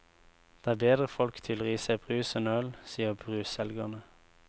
Det er bedre folk tyller i seg brus enn øl, sier brusselgerne.